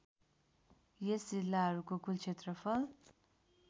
यस जिल्लाहरूको कुल क्षेत्रफल